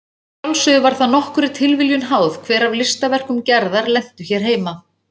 Að sjálfsögðu var það nokkurri tilviljun háð hver af listaverkum Gerðar lentu hér heima.